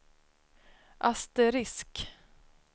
asterisk